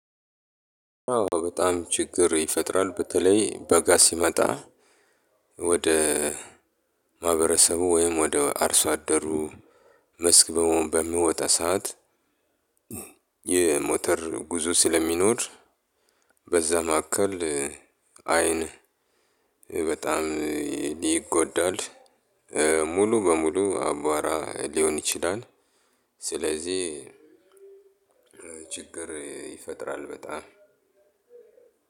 አዎ በጣም ችግር ይፈጥራል በተለይ በጋ ሲመጣ ወደ ማህበረሰቡ ወይም ወደ አርሶ አደሩ መስክ በውን በሚወጣ ሰዓት። የሞተር ጉዞ ስለሚኖር። በዛ መካከል አይን በጣም ሊጎዳል። ሙሉ በሙሉ አቧራ ሊሆን ይችላል። ስለዚህ ችግርፅይፈጥራል በጣም